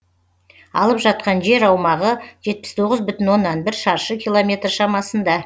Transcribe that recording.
алып жатқан жер аумағы жетпіс тоғыз бүтін оннан бір шаршы километр шамасында